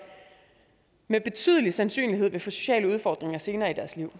med en betydelig sandsynlighed vil få sociale udfordringer senere i deres liv